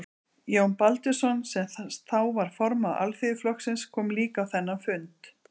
Jón Baldvinsson, sem þá var formaður Alþýðuflokksins, kom líka á þennan fund.